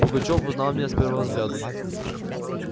пугачёв узнал меня с первого взгляду